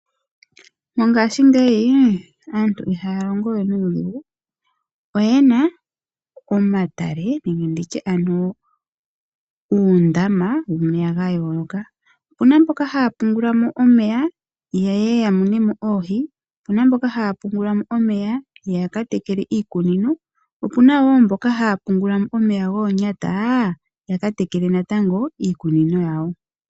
Mongaashingeyi aantu ihaya longo we nuudhigu oyena omatale nenge nditye ano uundama womeya ga yooloka. Opuna mboka haya pungula mo omeya yeye yamune mo oohi, opuna mboka haya pungula mo omeya ya katekele iimeno, opuna wo mboka haya pungula omeya goonyata yaka tekele iikunino yawo.